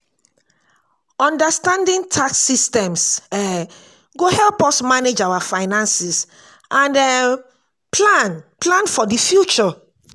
understanding tax systems um go help us manage our finances and um plan plan for the future.